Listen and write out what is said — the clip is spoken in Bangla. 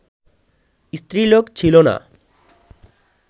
স্ত্রীলোক ছিল না